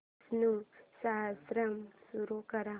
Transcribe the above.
विष्णु सहस्त्रनाम सुरू कर